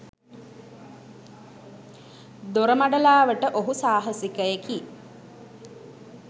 දොරමඩලාවට ඔහු සාහසිකයෙකි.